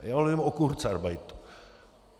Já nemluvím o kurzarbeitu.